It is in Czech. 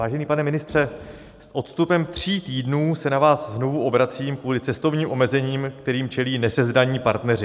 Vážený pane ministře, s odstupem tří týdnů se na vás znovu obracím kvůli cestovním omezením, kterým čelí nesezdaní partneři.